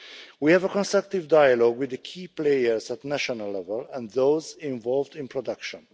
We have a constructive dialogue with the key players at national level and those involved in production.